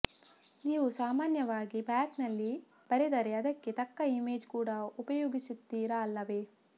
ನೀವು ಸಾಮಾನ್ಯವಾಗಿ ಬ್ಲಾಗ್ನಲ್ಲಿ ಬರೆದರೆ ಅದಕ್ಕೆ ತಕ್ಕ ಇಮೇಜ್ ಕೂಡ ಉಪಯೋಗಿಸುತ್ತೀರ ಅಲ್ಲವೆ